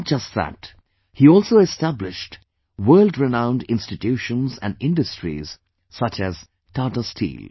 Not just that, he also established world renowned institutions and industries such as Tata Steel